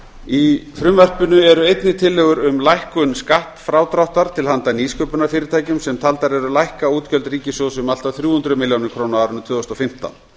í frumvarpinu eru einnig tillögur um lækkun skattfrádráttar til handa nýsköpunarfyrirtækjum sem taldar eru lækka útgjöld ríkissjóðs um allt að þrjú hundruð milljóna króna á árinu tvö þúsund og fimmtán